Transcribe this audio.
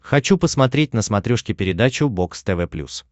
хочу посмотреть на смотрешке передачу бокс тв плюс